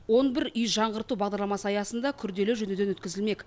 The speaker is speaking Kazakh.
он бір үй жаңғырту бағдарламасы аясында күрделі жөндеуден өткізілмек